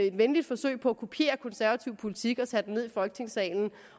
et venligt forsøg på at kopiere konservativ politik at tage det ned i folketingssalen